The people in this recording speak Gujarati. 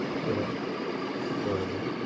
બરા બરાબર